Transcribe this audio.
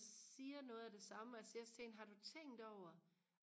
siger noget af det samme og jeg siger også til hende har du tænkt over